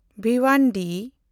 Bhiwandi